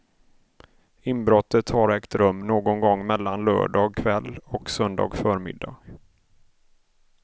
Inbrottet har ägt rum någon gång mellan lördag kväll och söndag förmiddag.